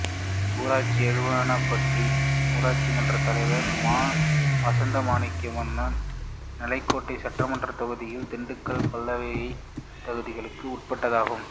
ஊராட்சி எழுவனம்பட்டி ஊராட்சி மன்ற தலைவர் ம வசந்தா மணிவண்ணன் நிலக்கோட்டை சட்டமன்றத் தொகுதிக்கும் திண்டுக்கல் மக்களவைத் தொகுதிக்கும் உட்பட்டதாகும்